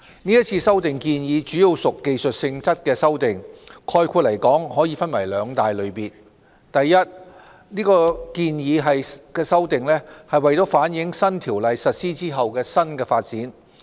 是次修例建議主要屬技術性質的修訂，概括來說，可以分為兩大類別：第一類別建議的修訂是為反映新《公司條例》實施後的新發展。